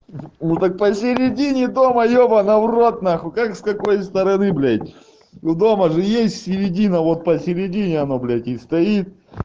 ну так посередине дома ебана в рот нахуй как с какой стороны блять у дома же есть середина вот посередине оно блять и стоит